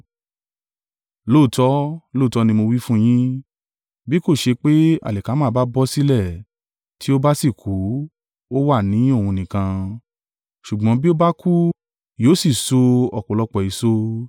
Lóòótọ́, lóòótọ́ ni mo wí fún yín, bí kò ṣe pé alikama bá bọ́ sí ilẹ̀, tí ó bá sì kú, ó wà ní òun nìkan; ṣùgbọ́n bí ó bá kú, yóò sì so ọ̀pọ̀lọpọ̀ èso.